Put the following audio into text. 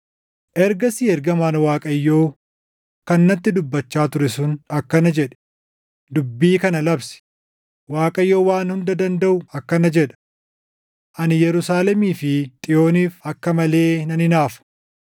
Ergasii ergamaan Waaqayyoo kan natti dubbachaa ture sun akkana jedhe; “Dubbii kana labsi: Waaqayyo Waan Hunda Dandaʼu akkana jedha; ‘Ani Yerusaalemii fi Xiyooniif akka malee nan hinaafa;